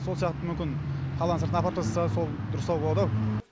сол сияқты мүмкін қаланың сыртына апарып тастаса сол дұрыстау болды ау